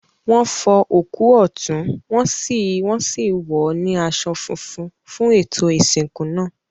Wọn fọ òkú ọ̀tún, wọn sì wọ́n sì wọ̀ ọ́ ní aṣọ funfun fún ètò ìsìnkú náà.